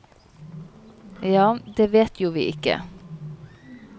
Ja, det vet vi jo ikke.